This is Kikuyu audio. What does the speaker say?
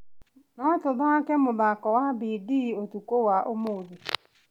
No tũthake mũthako wa bindi ũtukũ wa ũmũthĩ.